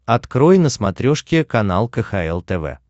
открой на смотрешке канал кхл тв